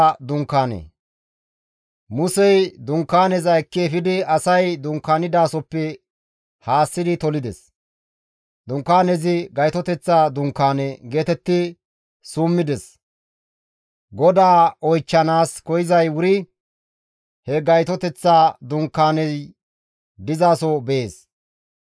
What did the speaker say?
Musey Dunkaaneza ekki efidi asay dunkaanidasoppe haassi tolides. Dunkaanezi, «Gaytoteththa Dunkaane» geetetti summides. GODAA oychchanaas koyzay wuri he gayteththa dunkaaney dizaso bees.